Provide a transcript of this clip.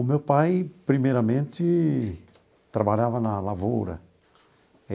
O meu pai, primeiramente, trabalhava na lavoura.